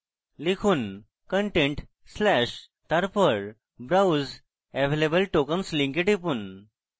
লিখুন content/ তারপর browse available tokens link টিপুন